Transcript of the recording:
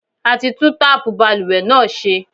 A ti tún táàpù balùwẹ̀ náà ṣe.